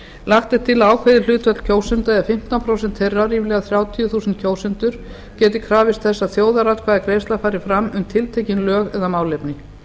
lagt er til að ákveðið hlutfall kjósenda fimmtán prósent þeirra geti krafist þess að þjóðaratkvæðagreiðsla fari fram um tiltekin lög eða málefni